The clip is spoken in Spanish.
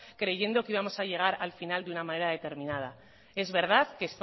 creyendo que íbamos a llegar al final de una manera determinada es verdad que